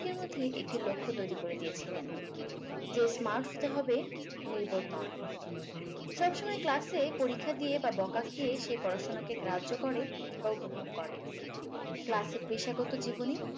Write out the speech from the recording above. নিজের মধ্যে একটি লক্ষ্য তৈরী করে দিয়েছিলেন যে smart হতে হবে নির্বোধ নয় সবসময় class এ পরীক্ষা দিয়ে বা বোকা খেয়ে সে পড়াশুনাকে গ্রাহ্য বা উপভোগ করে class এ পেশাগত জীবনে